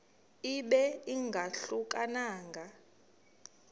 ibe ingahluka nanga